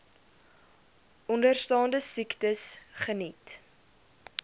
onderstaande siektes geniet